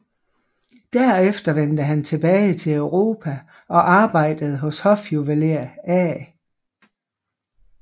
Derefter vendte han tilbage til Europa og arbejdede hos hofjuveler A